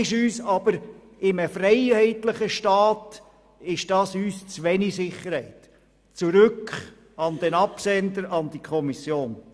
In einem freiheitlichen Staat ist uns dies aber zu wenig Sicherheit, daher zurück an den Absender, zurück an die Kommission.